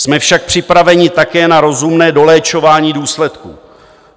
Jsme však připraveni také na rozumné doléčování důsledků.